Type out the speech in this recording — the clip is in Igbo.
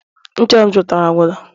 ncha m zụtara agwụla